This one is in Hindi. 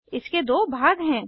इसके दो भाग हैं